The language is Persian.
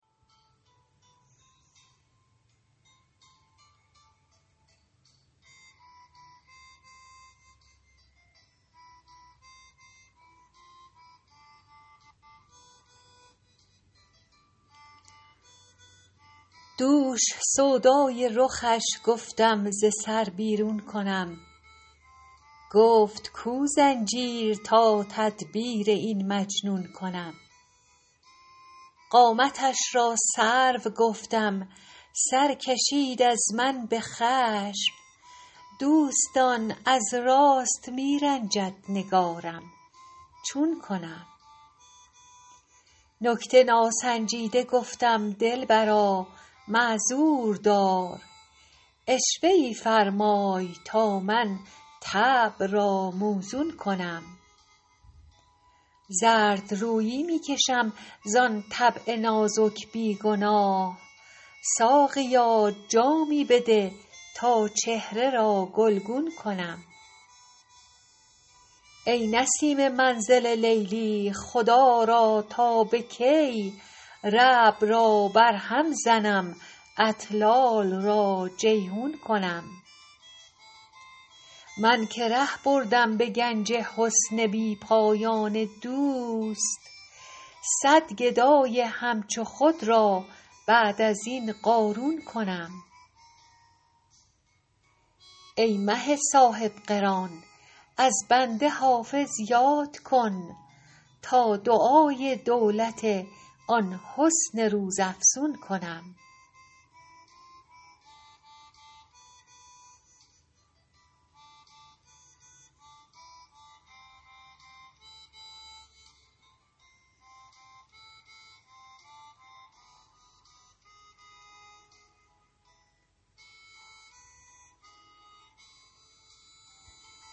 دوش سودای رخش گفتم ز سر بیرون کنم گفت کو زنجیر تا تدبیر این مجنون کنم قامتش را سرو گفتم سر کشید از من به خشم دوستان از راست می رنجد نگارم چون کنم نکته ناسنجیده گفتم دلبرا معذور دار عشوه ای فرمای تا من طبع را موزون کنم زردرویی می کشم زان طبع نازک بی گناه ساقیا جامی بده تا چهره را گلگون کنم ای نسیم منزل لیلی خدا را تا به کی ربع را برهم زنم اطلال را جیحون کنم من که ره بردم به گنج حسن بی پایان دوست صد گدای همچو خود را بعد از این قارون کنم ای مه صاحب قران از بنده حافظ یاد کن تا دعای دولت آن حسن روزافزون کنم